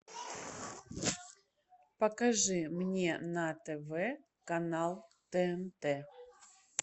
покажи мне на тв канал тнт